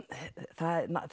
það